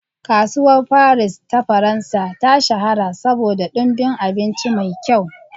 Kasuwar Faris ta Faransa ta shahara saboda ɗumbin abinci mai kyau.